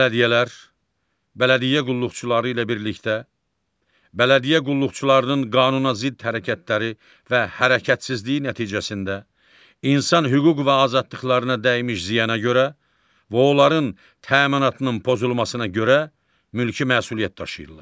Bələdiyyələr, bələdiyyə qulluqçuları ilə birlikdə, bələdiyyə qulluqçularının qanunazidd hərəkətləri və hərəkətsizliyi nəticəsində, insan hüquq və azadlıqlarına dəymiş ziyana görə və onların təminatının pozulmasına görə mülki məsuliyyət daşıyırlar.